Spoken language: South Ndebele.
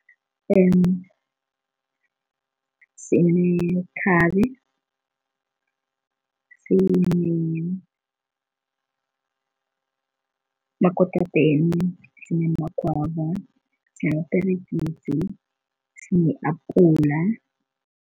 Sinekhabe, sinemakotapeni sinamagwava, sineperegisi, sine-apula.